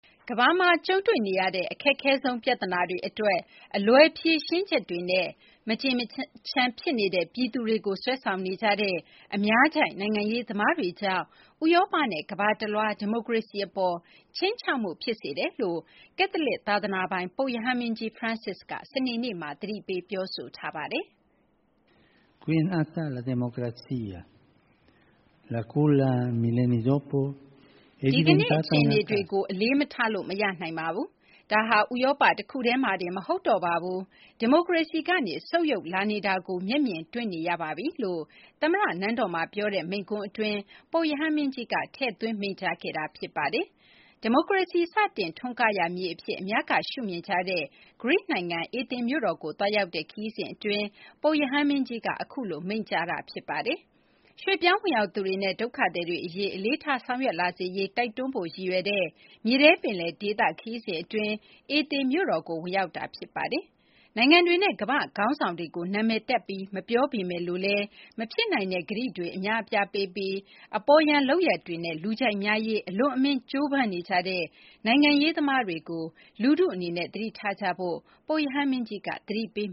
ကမ္ဘာမှာ ကြုံတွေ့နေရတဲ့ အခက်ခဲဆုံး ပြဿနာတွေအတွက် အလွယ် ဖြေရှင်းချက်တွေနဲ့ မကျေမချမ်းဖြစ်နေတဲ့ ပြည်သူတွေကို ဆွဲဆောင်နေကြတဲ့ အများကြိုက် နိုင်ငံရေးသမားတွေကြောင့် ဥရောပနဲ့ ကမ္ဘာတလွှား ဒီမိုကရေစီအပေါ် ခြိမ်းခြောက်မှု ဖြစ်စေတယ်လို့ ကက်သလစ် သာသနာပိုင် ပုပ်ရဟန်းမင်းကြီး Francis က စနေနေ့မှာ သတိပေးလိုက်ပါတယ်။ “ဒီကနေ့ အခြေအနေတွေကို အလေးမထားလို့ မရနိုင်ပါဘူး။ ဒါဟာ ဥရောပ တခုတည်းမှာတင် မဟုတ်တော့ပါဘူး။ ဒီမိုကရေစီကနေ ဆုတ်ယုတ်လာနေတာကို မျက်မြင်တွေ့နေရပါပြီ။” လို့ သမ္မတနန်းတော်မှာ ပြောတဲ့ မိန့်ခွန်းအတွင်း ပုပ်ရဟန်းမင်းကြီးက ထည့်သွင်း မိန့်ကြားခဲ့တာပါ။ ဒီမိုကရေစီ စတင်ထွန်းကားရာ မြေအဖြစ် အများက ရှုမြင်ကြတဲ့ ဂရိနိုင်ငံ အေသင်မြို့တော်ကို သွားရောက်တဲ့ ခရီးစဉ်အတွင်း ပုပ်ရဟန်းမင်းကြီးက အခုလို မိန့်ကြားတာ ဖြစ်ပါတယ်။ ရွှေ့ပြောင်းဝင်ရောက်သူတွေနဲ့ ဒုက္ခသည်တွေအရေး အလေးထား ဆောင်ရွက်လာစေရေး တိုက်တွန်းဖို့ ရည်ရွယ်တဲ့ မြေထဲပင်လယ်ဒေသ ခရီးစဉ်အတွင်း အေသင်မြို့တော်ကို ဝင်ရောက်တာ ဖြစ်ပါတယ်။ နိုင်ငံတွေနဲ့ ကမ္ဘာ့ခေါင်းဆောင်တွေကို နာမည်တပ်ပြီး မပြောပေမယ့်လို့လည်း မဖြစ်နိုင်တဲ့ ကတိတွေ အများအပြားပေးပြီး အပေါ်ယံ လုပ်ရပ်တွေနဲ့ လူကြိုက်များရေး အလွန်အမင်း ကြိုးပမ်းနေကြတဲ့ နိုင်ငံရေးသမားတွေကို လူထုအနေနဲ့ သတိထားကြဖို့ ပုပ်ရဟန်းမင်းကြီးက သတိပေး